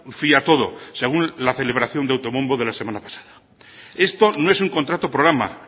fía todo según la celebración de autobombo de la semana pasada esto no es un contrato programa